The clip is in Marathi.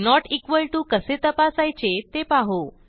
नोट इक्वॉल टीओ कसे तपासायचे ते पाहू